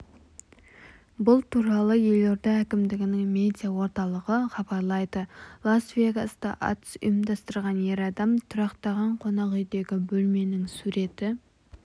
бұл туралы елорда әкімдігінің медиа орталығы хабарлайды лас-вегаста атыс ұйымдастырған ер адам тұрақтаған қонақүйдегі бөлменің суреті